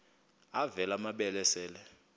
avela amabele esel